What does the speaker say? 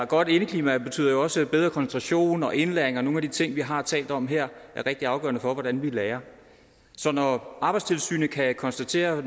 godt indeklima betyder jo også bedre koncentration og indlæring og nogle af de ting som vi har talt om her er rigtig afgørende for hvordan vi lærer så når arbejdstilsynet kan konstatere